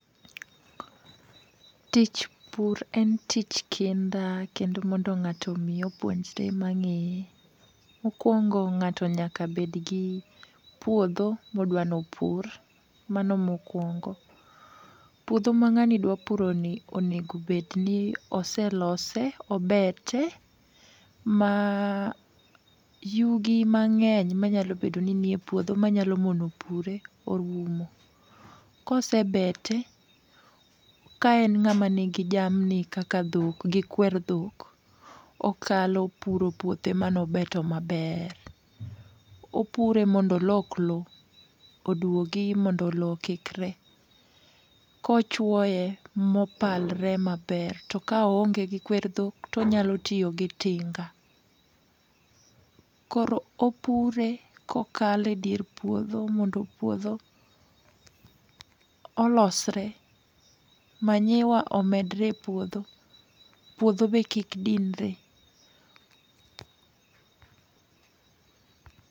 Tich pur en tich kendo mondo ng'ato omi opuonjre mang'eye, mokwongo ng'ato nyaka bedgi puodho modwa nopur. Mano mokwongo. Puodho ma ng'ani dwa puroni onego obedni oselose obete, ma yugi mang'eny manyalo bedo ni nie puodho manyalo mono pure orumo. Kosebete, ka en ng'ama nigi jamni kaka dhok gi kwer dhok, okalo puro puothe manobeto maber. Opure mondo olok lowo odwogi mondo lowo okikre. Kochwoye mopangre maber, to ka oonge gi kwer dhok ,tonyalo tiyo gi tinga. Koro opure kokalo e dier puodho mondo puodho olosre ,manyiwa omedre e puodho. Puodho be kik dinre.